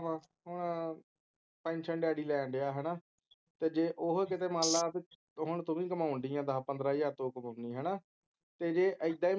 ਪਤਾ ਕਿੱਦਾਂ ਵਾ ਹੁਣ ਪੈਨਸ਼ਨ ਡੈਡੀ ਲੈਣ ਡਿਆ ਹੈਨਾ ਤੇ ਜੇ ਓਹੀ ਕਿਧਰੇ ਮੰਨ ਲੈ ਹੁਣ ਤੂੰ ਵੀ ਕਮਾਉਂਦੀ ਹੈ ਦੱਸ ਪੰਦਰਾਂ ਹਜ਼ਾਰ ਜੋ ਕਮਾਉਂਦੀ ਹੈ ਹੈਨਾ ਤੇ ਜੇ ਇੱਦਾਂ ਹੀ